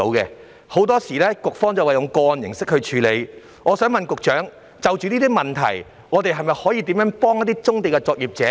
局方表示會以個案形式處理，但請問局長，就有關問題，當局會如何協助棕地作業者呢？